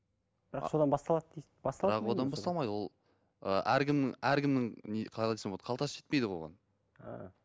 бірақ содан басталады дейді бірақ одан басталмайды ол ы әркімнің әркімнің не қалай айтсам болады қалтасы жетпейді оған а